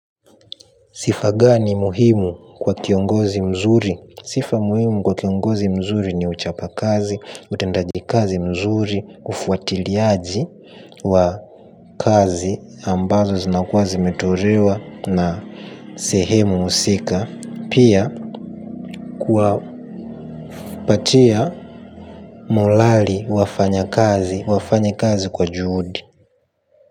Sifa gani muhimu kwa kiongozi mzuri? Sifa muhimu kwa kiongozi mzuri ni uchapa kazi, utendaji kazi mzuri, ufuatiliaji wa kazi ambazo zinakuwa zimetorewa na sehemu usika. Pia kwa upatia mulali wafanya kazi, wafanya kazi kwa juhudi.